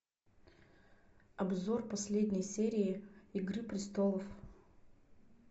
обзор последней серии игры престолов